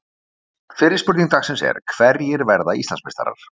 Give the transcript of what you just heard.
Fyrri spurning dagsins er: Hverjir verða Íslandsmeistarar?